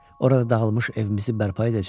Orada dağılmış evimizi bərpa edəcəm.